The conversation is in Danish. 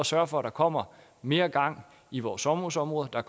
sørge for at der kommer mere gang i vores sommerhusområder at der